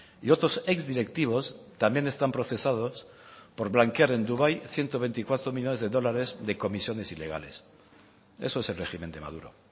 y otros exdirectivos también están procesados por blanquear en dubái ciento veinticuatro millónes de dólares de comisiones ilegales eso es el régimen de maduro